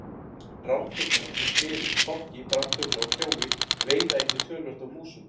Ránfuglar eins og smyrill, fálki, brandugla og kjói veiða einnig töluvert af músum.